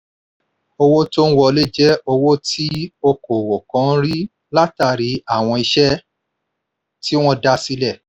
owó tó ń wọlé je owó tí òkòwò kan ń rí látálàrí àwọn iṣẹ́ tí wọ́n dá sílẹ̀